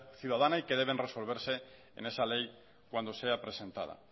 ciudadana y que deben resolverse en esa ley cuando sea presentada